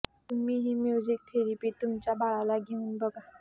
तुम्ही ही music therapy तुमच्या बाळाला देऊन बघा